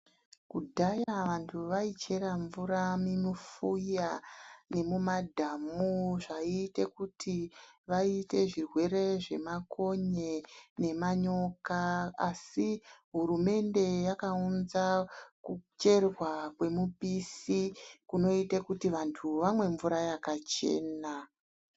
Kudhaya vantu vaichera mvura mumufuya ne mumadhamu zvaiite kuti vaite zvirwere zvemakonye nemanyoka asi hurumende yakaunza kucherwa kwemupisi kunoite kuti vantu vamwe mvura yakachena.